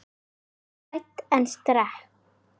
Ég var hrædd en sterk.